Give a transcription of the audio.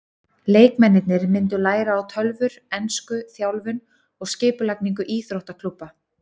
Leikmennirnir myndu læra á tölvur, ensku, þjálfun og skipulagningu íþróttaklúbba.